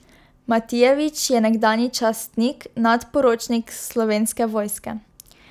Matijevič je nekdanji častnik, nadporočnik Slovenske vojske.